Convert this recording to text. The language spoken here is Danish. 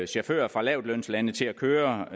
chauffører fra lavtlønslande til at køre